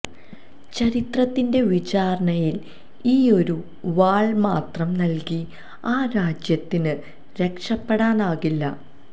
ചരിത്രത്തിന്റെ വിചാരണയില് ഈയൊരു വാള് മാത്രം നല്കി ആ രാജ്യത്തിന് രക്ഷപ്പെടാനാകില്ല